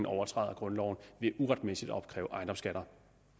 overtræder grundloven ved uretmæssigt at opkræve ejendomsskatter